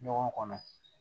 Ɲɔgɔn kɔnɔ